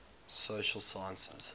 social sciences